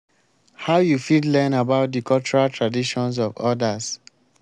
how you fit learn about di cultural traditions of odas?